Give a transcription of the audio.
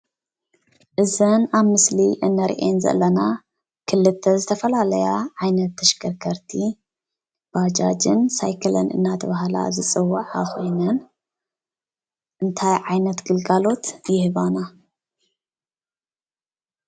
እዘን ኣብ ምስሊ እንሪአን ዘለና ክልተ ዝተፈላለያ ዓይነት ተሽከርከርቲ ባጃጅን ሳይክልን እናተባሃላ ዝፅዋዓ ኮይነን እንታይ ዓይነት ግልጋሎት ይህባና?